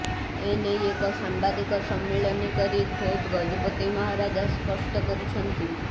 ଏନେଇ ଏକ ସାମ୍ବାଦିକ ସମ୍ମିଳନୀ କରି ଖୋଦ୍ ଗଜପତି ମହାରାଜା ସ୍ପଷ୍ଟ କରିଛନ୍ତି